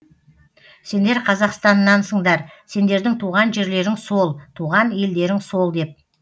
сендер қазақстаннансыңдар сендердің туған жерлерің сол туған елдерің сол деп